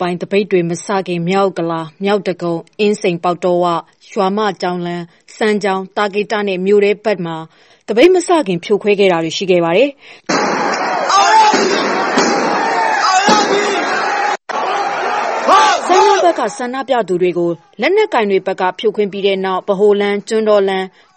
ပိုင်း သပိတ်တွေမစခင် မြောက်ဥက္ကလာ၊ မြောက်ဒဂုံ၊ အင်းစိန်ပေါက်တောဝ၊ ရွာမကျောင်းလမ်း၊ စမ်းချောင်း၊ သာကေတနဲ့ မြို့ထဲဘက်မှာ သပိတ်မစခင်ဖြိုခွဲတာရှိခဲ့ပါတယ်။ စမ်းချောင်းဘက်က ဆန္ဒပြသူတွေကို လက်နက်ကိုင်တွေဘက်က ဖြိုခွင်းပြီးတဲ့နောက် ဗဟိုလမ်း၊ ကျွန်းတော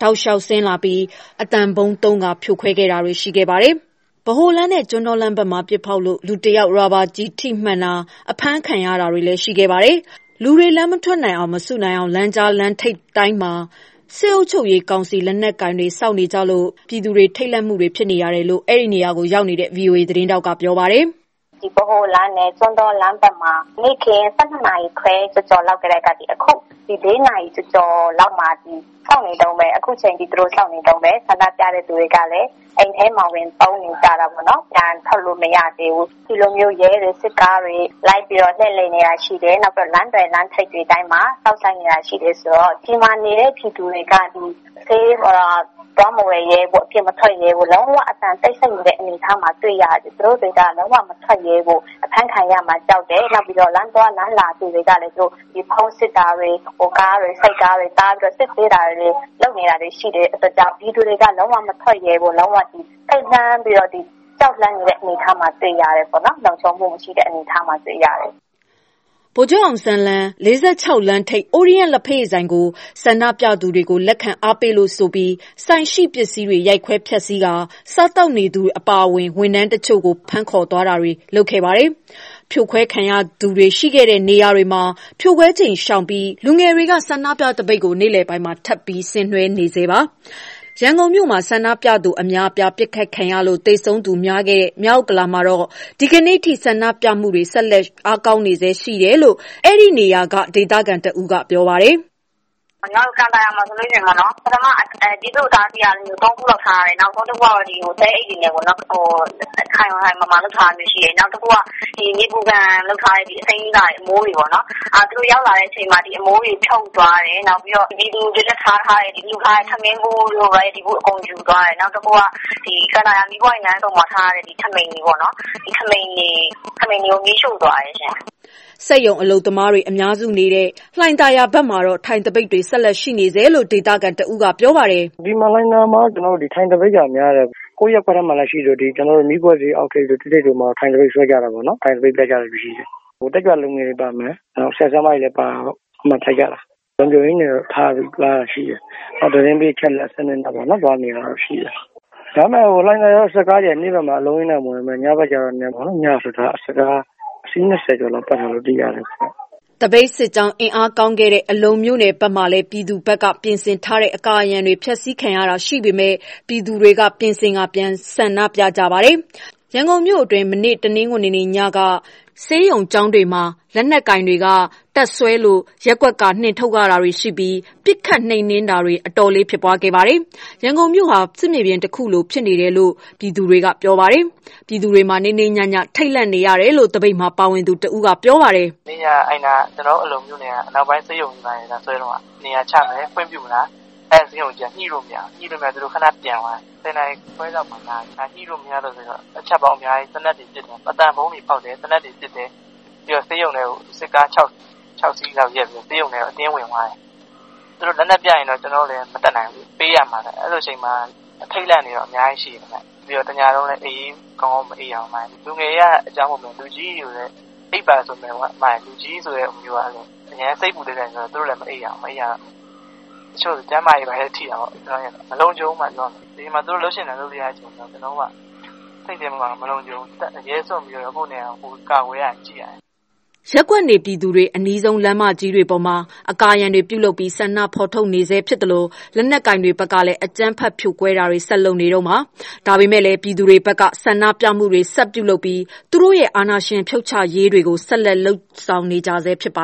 တောက်လျှောက်ဆင်းလာပြီး အသံဗုံးသုံး ဖြိုခွဲတာတွေလည်း ရှိခဲ့ပါတယ်။ ဗဟိုလမ်းဘက်နဲ့ ကျွန်းတောလမ်းဘက်မှာ ပစ်ဖောက်လို့ လူတစ်ယောက်ရာဘာကျည်ထိမှန်တာ အဖမ်းခံရတာတွေ ရှိတယ်။ လူတွေ လမ်းမထွက်နိုင်အောင် မစုနိုင်အောင် လမ်းကြားလမ်းထိပ်တိုင်းမှာ စစ်အုပ်ချုပ်ရေးကောင်စီ လက်နက်ကိုင်တွေ စောင့်နေကြလို့ ပြည်သူတွေက ထိတ်လန့်မှုတွေဖြစ်နေရတယ်လို့ အဲဒီနေရာမှာရောက်နေတဲ့ ဗွီအိုအေ သတင်းထောက်ကပြောပါတယ်။ "ဗဟိုလမ်းနဲ့ ကျွန်းတောလမ်းထိပ်တွေမှာရော နေ့ခင်း ၁၂ ခွဲကျော်ကျော်လောက်ကတည်းက အခုညနေ လေးနာရီကျော်ကျော်လောက်မှာထိ အခုထိစောင့်နေတုန်းဆန္ဒပြတဲ့ လူတွေကလည်း အိမ်ထဲတွေမှာ ပုန်းနေရတယ်။ ပြန်ထွက်လို့မရသေးဘူး။ ဒီလိုရဲတွေ၊ စစ်တပ်တွေ လှည့်နေတာရှိတယ်။ လမ်းသွယ်၊ လမ်းထိပ်တိုင်းစောင့်ဆိုင်းနေတာ ရှိတယ်။ ဆိုတော့ဒီမှာနေတဲ့ ပြည်သူတွေက ဈေးတောင်ထွက် မဝယ်ရဲဘူး၊ အပြင်မထွက်ရဲဘူး။ အကုန်လုံး တိတ်ဆိတ်နေတယ်။ လုံးဝအပြင်မထွက်ရဲဘူး။ အဖမ်းခံရမှာကြောက်တယ်။ နောက်ပြီးတော့ လမ်းသွားလမ်းလာတွေကို ဖုန်းစစ်တာတွေ၊ နောက်ကားတွေ၊ ဆိုက်ကားတွေ တားပြီးတော့ စစ်ဆေးတာတွေ လုပ်နေတယ်။ ပြည်သူတွေက လုံးဝမထွက်ရဲဘူး။ ထိတ်လန့်ပြီးတော့ ကြောက်လန့်နေတဲ့အနေအထားမှာ တွေ့ရတယ်။ လုံခြုံမှု မရှိတဲ့အနေအထားမှာ တွေ့ရတယ်။" ဗိုလ်ချုပ်အောင်ဆန်း လမ်း ၄၆ လမ်းထိပ်၊ ORIENT လ္ဘက်ရည်ဆိုင်ကို ဆန္ဒပြသူတွေကို လက်ခံအားပေးလို့ဆိုပြီး ဆိုင်ရှိပစ္စည်းတွေကို ရိုက်ခွဲဖျက်ဆီးပြီး စားသောက်နေသူတွေအပါအဝင် ဝန်ထမ်းတချို့ကို ဖမ်းခေါ်တာတွေ လုပ်ခဲ့ပါတယ်။ ဖြိုခွဲခံရသူတွေ ရှိခဲ့တဲ့နေရာတွေမှာ ဖြိုခွဲချိန်ရှောင်ပြီး လူငယ်တွေက ဆန္ဒပြသပိတ်ကို နေ့လယ်ပိုင်းမှာ ထပ်ပြီး ဆင်နွှဲနေဆဲပါ။ ရန်ကုန်မြို့မှာ ဆန္ဒပြသူတွေ အများအပြားပစ်ခတ်ခံရလို့ သေဆုံးသူ များခဲ့တဲ့ မြောက်ဥက္ကလာမှာလည်း ဒီကနေ့အထိ ဆန္ဒပြမှုတွေဆက်ရှိနေဆဲ ဖြစ်ပြီး အားကောင်းနေဆဲရှိတယ်လို့ အဲဒီနေရာကဒေသခံတဦးကပြောပါတယ်။ "ကန်သာယာမှာဆိုရင် ပြည်သူ့ အတားအဆီး ၃ ခု လောက်ထားတယ်။ နောက်ဆုံးက သဲအိတ်တွေနဲ့ပေါ့နော်။ ခိုင်ခိုင်မာမာ လုပ်ထားတာမျိုးရှိတယ်။ နောက်တခုက နေပူခံလုပ်ထားတဲ့ အစိမ်းကာတွေ အမိုးတွေပေါ့နော်... သူတို့ရောက်လာတဲ့အချိန်မှာ ဒီအမိုးတွေ ဖြုတ်သွားတယ်။ ပြည်သူတွေတွက်ထားထားတဲ့၊ လှူထားတဲ့ ထမင်းဘူးတို့၊ အအေးဗူးတို့ ယူသွားတယ်။ နောက်တခုက ကန်သာယာမီးပွိုင့်လမ်းဆုံမှာထားတဲ့ ပြည်သူ့ ထဘီတွေပေါ့နော်... ထဘီတွေကို မီးရှို့သွားတယ်။" စက်ရုံအလုပ်သမားတွေ အများစုနေတဲ့ လှိုင်သာယာဘက်မှာတော့ ထိုင်သပိတ်တွေ ဆက်ရှိနေဆဲရှိတယ်လို့ ဒေသခံတဦးက ပြောပါတယ်။ "လှိုင်သာယာမှာတော့ ထိုင်သပိတ်က များတယ်။ ကိုယ့်ရပ်ကွက်ထဲမှာ ရှိသလို မီးခွက်ဈေး အောက်ထိပ်တို့၊ ၁ ထိပ်တို့မှာ ထိုင်သပိတ် ဆွဲကြတာပေါ့နော်။ တက်ကြွလူငယ်တွေပါမယ်၊ နောက် ဆရာ၊ ဆရာမတွေလည်း ပါတာပေါ့ အဲဒီမှာထိုင်ကြတာ။ လုံခြုံရေးကတော့ ထားတယ်။ နောက်သတင်းပေး အချက်အလက်နဲ့ သွားနေတာရှိတယ်။ ဒါပေမဲ့ လှိုင်သာယာမှာ စစ်ကားတွေက နေ့ဘက်မှာ အလုံးအရင်းနဲ့ မဝင်ပေမဲ့ ညဘက်ကျရင် စစ်ကားအစီး ၂၀ ကျော်လောက်ပတ်နေတာ သိရတယ်။" သပိတ်စစ်ကြောင်း အင်အားကောင်းခဲ့တဲ့ အလုံမြို့နယ်ဘက်မှာလည်း ပြည်သူဘက်က ပြင်ဆင်ထားတဲ့ အကာအရံတွေ ဖျက်ဆီးခံရတာ ရှိပေမဲ့ ပြည်သူတွေက ပြင်ဆင်ပြီး ပြန်ဆန္ဒပြကြပါတယ်။ ရန်ကုန်မြို့အတွင်း မနေ့ တနင်္ဂနွေညက နေရာအတော်များများကို လုံခြုံရေးတွေက ဆေးရုံ၊ ကျောင်းတွေမှာ တပ်စွဲလို့ ရပ်ကွက်က နှင်ထုတ်ရတာတွေ ရှိပြီး ပစ်ခတ်နှိမ်နင်းတာတွေ အတော်လေးဖြစ်ပွားခဲ့ပါတယ်။ ရန်ကုန်မြို့ဟာ စစ်မြေပြင်တခုလိုဖြစ်နေတယ်လို့ ပြည်သူတွေက ပြောပါတယ်။ ပြည်သူတွေဟာ နေ့နေ့ညည ထိတ်လန့်နေရတယ်လို့ သပိတ်မှာ ပါဝင်နေသူတဦးက ပြောပါတယ်။ "မနေ့ညက ကျနော်တို့ အလုံမြို့နယ်က အနောက်ပိုင်းဆေးရုံမှာ လာဆွဲတုန်းက နေရာချမယ်.. ခွင့်ပြုမလား။ အဲဒီ ဆေးရုံအုပ်က ညှိလို့မရဘူး။ ညှိမရတော့ သူတို့ ခဏ ပြန်သွားတယ်။ ၁၀ ခွဲလောက်မှာ လာတယ် ညှိမရလို့ဆိုပြီး အချက်ပေါင်းအများကြီး သေနတ်တွေ ပစ်တယ်။ အသံဗုံးတွေ ဖောက်တယ်၊ သေနတ်တွေ ပစ်တယ်။ ဆေးရုံထဲ စစ်ကား ၆ စီးလောက်နဲ့ ဆေးရုံထဲကို အတင်းဝင်သွားတယ်။ သူတို့လက်နက်ပြတော့ ကျနော်တို့လည်း မတတ်နိုင်ဘူးလေ... ပေးရမှာပဲ။ အဲဒီလိုအချိန်မှာပေါ့လေ အထိတ်အလန့်တွေ အများကြီး ရှိတယ်။ တညလုံးလည်း ကောင်းကောင်းမအိပ်ရဘူး။ လူငယ်တွေက အကြောင်း မဟုတ်ပေမဲ့ လူကြီးတွေကျတော့ အိပ်ပါဆိုလည်း လူကြီးဆိုတာက အရမ်း စိတ်ပူတတ်တော့ သူတို့လည်း မအိပ်နိုင်ဘူး။ အဲဒီတော့ တချို့တွေလည်း ကျန်းမာရေးထိတာပေါ့။ မလုံခြုံဘူးဗျ။ သူတို့က ဒီအချိန်မှာ လုပ်ချင်တိုင်း လုပ်နေကြတာ စိတ်ထဲမှာ မလုံခြုံဘူး။ အရဲစွန့်ပြီးတော့ ကိုယ့်နေရာကိုယ်ရသလို ကာကွယ်နေရတယ်။" ရပ်ကွက်နေပြည်သူတွေ အနီးဆုံး လမ်းမကြီးတွေပေါ်မှာ အကာအရံတွေ ပြုလုပ်ပြီး ဆန္ဒဖော်ထုတ်နေဆဲ ဖြစ်သလို၊ လက်နက်ကိုင်တွေဘက်ကလည်း အကြမ်းဖက်ဖြိုခွဲတာတွေ ဆက်လုပ်နေတုန်းပါ။ ဒါပေမဲ့လည်း ပြည်သူတွေဘက်က ဆန္ဒပြမှုတွေ ဆက်ပြုလုပ်ပြီး သူတို့ရဲ့ အာဏာရှင်ဖြုတ်ချရေးတွေကို ဆက်လက်လုပ်ဆောင်နေကြဆဲ ဖြစ်ပါ